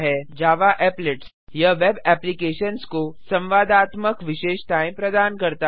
Java Applets यह web applications को संवादात्मक विशेषताएँ प्रदान करता है